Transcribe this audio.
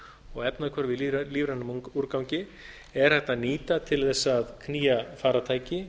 og efnahvörf í lífrænum úrgangi er hægt að nýta til að knýja farartæki